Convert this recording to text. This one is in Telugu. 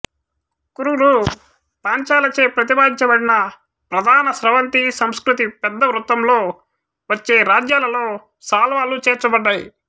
కురులు పాంచాలచే ప్రతిపాదించబడిన ప్రధాన స్రవంతి సంస్కృతి పెద్ద వృత్తంలో వచ్చే రాజ్యాలలో సాల్వాలు చేర్చబడ్డాయి